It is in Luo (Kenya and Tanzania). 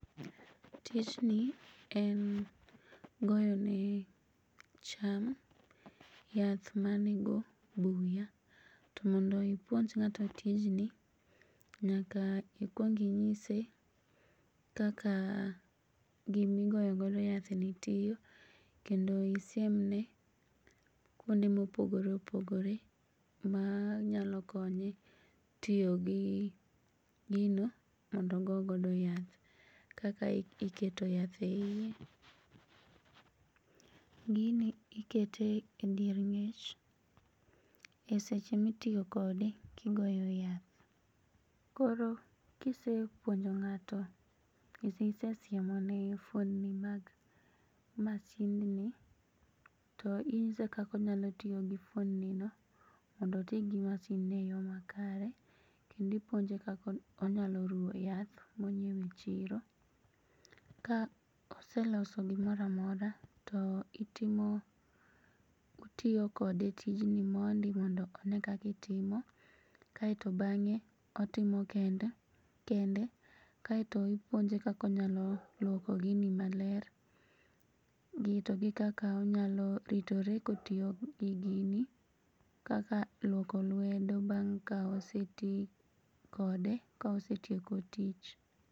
Tijni en goyone cham yath manego buya to mondo ipuonj ng'ato tijni nyaka ikuong inyise kaka gimigoyo godo yathni tiyo kendo isiemne kuonde mopogore opogore manyalo konye tiyo gi gino mondo ogo godo yath kaka iketo yath eie .Gini ikete e dier ng'ech e seche mitiyo kode kigoyo yath. Koro kisepuonjo ng'ato yoo manigi fuondni mag masindni to inyise kaka onyalo tiyogi fuondninogo mondo otii gi masindno e yoo makare kendo ipuonje kaka onyalo ruo yath monyiewe chiro ka oseloso gimoramora to itiyo kode tijni mondi mondo onee kakitime kae to bang'e otime kende kae to ipuonje kakonyalo luoko gini maler to gi kaka onyalo ritore kotiyo gi gini kaka luoko luedo bang' kaoseti kode ka osetieko tich.